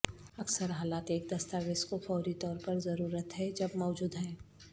اکثر حالات ایک دستاویز کو فوری طور پر ضرورت ہے جب موجود ہیں